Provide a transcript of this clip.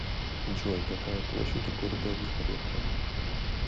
джой какая площадь у города вихоревка